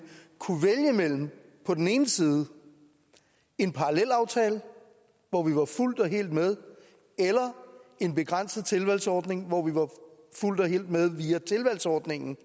kunne vælge mellem på den ene side en parallelaftale hvor vi var fuldt og helt med og en begrænset tilvalgsordning hvor vi var fuldt og helt med via tilvalgsordningen